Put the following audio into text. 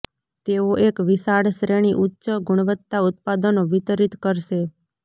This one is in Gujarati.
તેઓ એક વિશાળ શ્રેણી ઉચ્ચ ગુણવત્તા ઉત્પાદનો વિતરિત કરશે